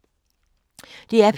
DR P3